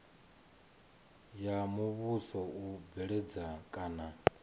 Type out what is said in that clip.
ya muvhuso u bveledza kana